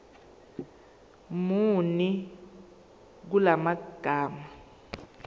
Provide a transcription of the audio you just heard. muni kula magama